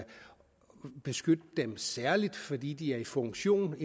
beskytte dem særligt fordi de er i funktion